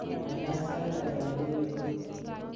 gaigai sait ata en new york